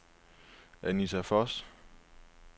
Anita Voss